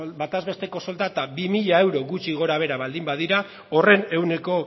bataz besteko soldata bi mila euro gutxi gorabehera baldin badira horren ehuneko